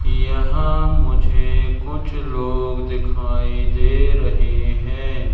यहां मुझे कुछ लोग दिखाई दे रहे है।